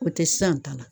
O tɛ san ta la